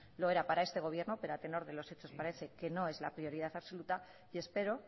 lo era para este gobierno pero a tenor de los hechos parece que no es la prioridad absoluta y espero